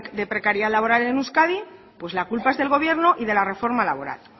de precariedad laboral en euskadi pues la culpa es del gobierno y de la reforma laboral